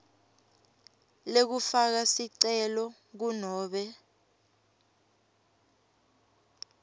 lekufaka sicelo kunobe